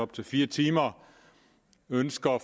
til fire timer ønsker